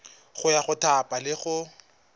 ya go thapa le go